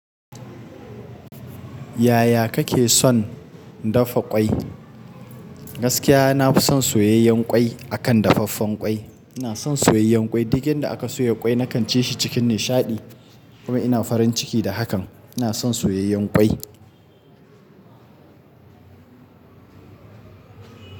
Yaya kake son dafa ƙwai? Gaskiya, na fi son soyayyen ƙwai akan dafaffen ƙwai. Ina son soyayyen ƙwai. Duk inda aka soya ƙwai, na kan ci shi cikin nishaɗi kuma ina farin ciki da hakan. Ina son soyayyen ƙwai.